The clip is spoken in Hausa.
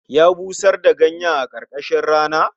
Ya busar da ganyen a karkashin rana